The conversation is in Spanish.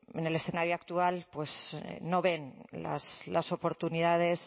en el escenario actual no ven las oportunidades